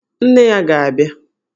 Nne ya ga-abịa!